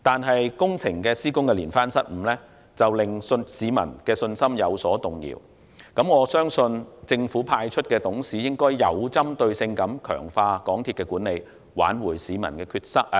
可是工程施工的連番失誤，令市民的信心有所動搖，我相信政府派出的董事須要有針對性地強化港鐵公司的管理，挽回市民的信心。